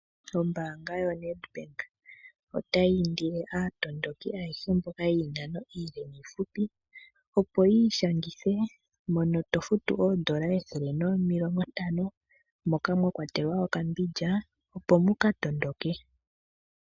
Ombaanga yo Nedbank otayi indile aamatuki ayehe mboka yiinano iile niihupi opo yi ishangithe mono tofutu oondola ethele nomilongo ntano moka mwa kwatelwa okambindja opo muka matuke .